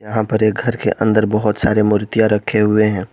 यहां पर एक घर के अंदर बहुत सारी मूर्तियां रखे हुए है।